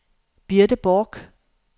Birte Borch